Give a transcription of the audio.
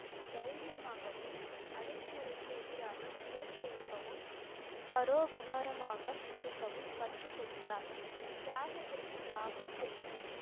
தைரியமாகவும் அடக்குமுறைக்கு எதிராக குரல் எழுப்பவும் பரோபகாரமாக இருக்கவும் கற்றுக் கொடுத்தார் தியாகத்திற்கு லாகூர் சென்றார்